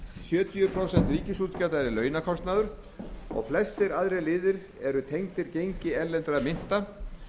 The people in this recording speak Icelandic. sjötíu prósent ríkisútgjalda eru launakostnaður og flestir aðrir liðir eru tengdir gengi erlendra mynta